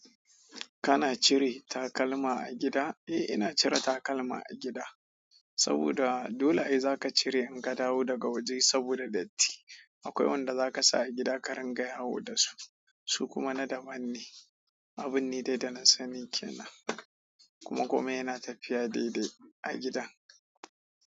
Kana cire takalma a gida? Eh, ina cire takalma a gida saboda dole ai zaka cire in ka dawo daga waje saboda datti. Akwai wanda za ka sa a gida, ka rinƙa yawo da su, su kuma na daban ne. Abun ne dai da na sani kenan. Kuma komai yana tafiya daidai a gidan.